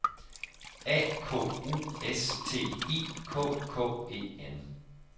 A K U S T I K K E N